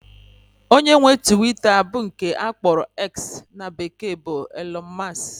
Onye nwe Twita bụ nke akpọrọ "X" in bekee bụ Elọn Mọs